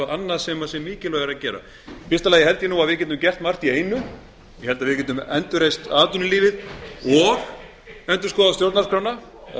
annað sem sé mikilvægara að gera í fyrsta lagi held ég að við getum gert margt í einu ég held að við getum endurreist atvinnulífið og endurskoðað stjórnarskrána það